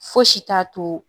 Fosi t'a to